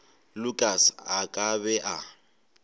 lukas a ka be a